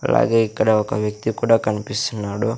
అలాగే ఇక్కడ ఒక వ్యక్తి కూడా కనిపిస్తున్నాడు.